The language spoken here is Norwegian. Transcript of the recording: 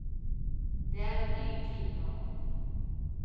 Det er en ny tid nå.